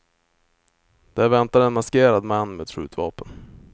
Där väntade en maskerad man med ett skjutvapen.